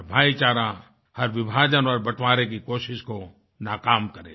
और भाईचारा हर विभाजन और बंटवारे की कोशिश को नाकाम करे